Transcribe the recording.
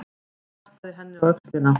Hann klappaði henni á öxlina.